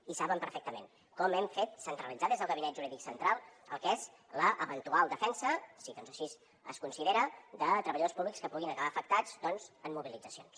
i saben perfectament com hem fet centralitzar des del gabinet jurídic central el que és l’eventual defensa si així es considera de treballadors públics que puguin acabar afectats doncs en mobilitzacions